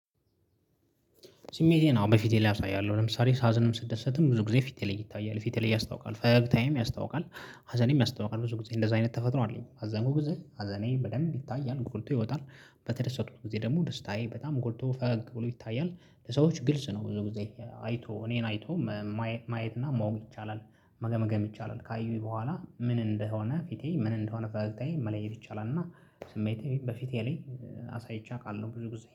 ስሜቴን አዎ በፊቴ ላይ አሳያለሁ ለምሳሌ ሳዝንም ስደሰትም ብዙ ጊዜ ፊቴ ላይ ይታያል ፊቴ ላይ ያስታውቃል ፈገግታዬም ያስታውቃል። ሀዘኔም ያስታውቃል ብዙ ጊዜ እንደዛ አይነት ተፈጥሮ አለኝ ሃዘኑ ጊዜ ሃዘኔ በደንብ ይታያል ጎልቶ ይወጣል። በተደሰትኩ ጊዜ ደግሞ ደስታዬ በጣም ጎልቶ ፈገግ ብሎ ይታያል ለሰዎች ግልጽ ነው ብዙ ጊዜ አይቶ እኔን አይቶ መ ማየት ማየት እና ማወቅ ይቻላል። መገምገም ይቻላል ካዩኝ በኋላ ምን እንደሆነ ፊቴ ምን እንደሆነ ፈገግታዬ መለየት ይቻላል። እና ስሜቴ በፊቴ ላይ አሳይቼ አውቃለሁ ብዙ ጊዜ